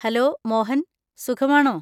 Hello Mohan, സുഖമാണോ?